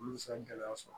Olu bɛ se ka gɛlɛya sɔrɔ